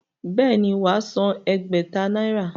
Bẹ́ẹ̀ ni, wà á san ẹgbẹ̀ta náírà.